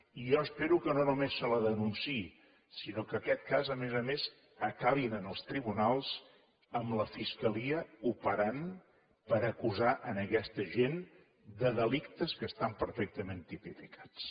i jo espero que no només se la denunciï sinó que en aquest cas a més a més acabi en els tribunals amb la fiscalia operant per acusar aquesta gent de delictes que estan perfectament tipificats